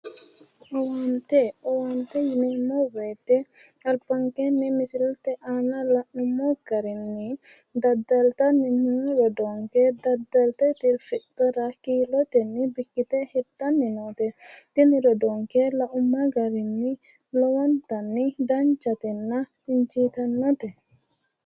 Owaante. Owaante yineemmo woyite albankeenni misilete aana la'nummo garinni daddalo noo rodoonke daddalte tirfidhara kiilotennibbikkite hirtanni noote. Tini rodoonke laumma garinni lowo danchatenna injiitannote.